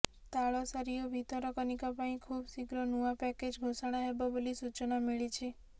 ତାଳସାରୀ ଓ ଭିତରକନିକା ପାଇଁ ଖୁବ୍ ଶୀଘ୍ର ନୂଆ ପ୍ୟାକେଜ ଘୋଷଣା ହେବ ବୋଲି ସୂଚନା ମିଳିଛି